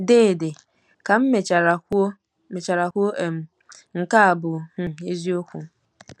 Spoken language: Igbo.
Deede, ka m mechara kwuo mechara kwuo, um " nke a bụ um eziokwu !"